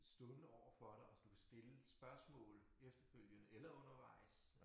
Stående overfor dig og du kan stille spørgsmål efterfølgende eller undervejs